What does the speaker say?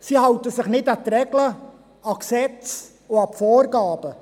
Sie halten sich nicht an Regeln, Gesetze und Vorgaben.